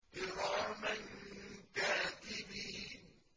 كِرَامًا كَاتِبِينَ